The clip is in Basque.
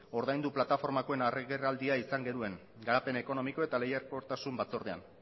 ordaindu plataformakoen agerraldia izan genuen garapen ekonomiko eta lehiakortasun batzordean